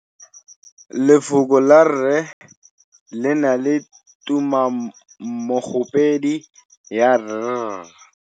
Lefoko la 'rre' le na le tumammogôpedi ya 'r'.